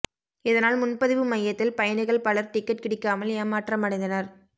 இதனால் முன்பதிவு மையத்தில் பயணிகள் பலர் டிக்கெட் கிடைக்காமல் ஏமாற்றமடைந்தனர்